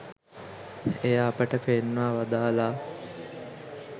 එය අපට පෙන්වා වදාළා